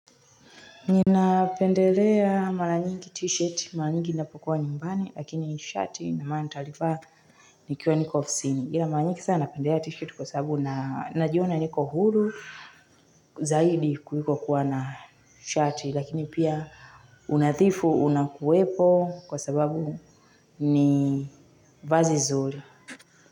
Ninapendelea mara nyingi t-shirt, mara nyingi ninapokua nyumbani, lakini shati naamua nitalivaa nikiwa niko ofsini. Ila mara nyingi sana napendelea t-shirt kwa sababu najiona niko huru zaidi kuliko kuwa na shati, lakini pia unathifu unakuwepo kwa sababu ni vazi zuri.